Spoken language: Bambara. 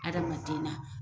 Adamadenan